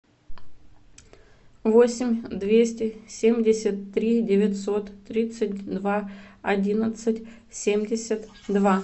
восемь двести семьдесят три девятьсот тридцать два одиннадцать семьдесят два